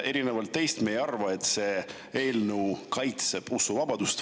Erinevalt teist meie ei arva, et see eelnõu kaitseb usuvabadust.